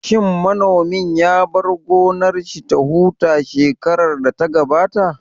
Shin manomin ya bar gonar shi ya huta shekarar da ta gabata?